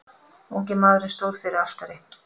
Ungi maðurinn stóð fyrir altari.